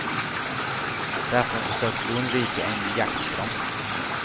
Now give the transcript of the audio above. Därför försöker vi undvika en jakt på dem.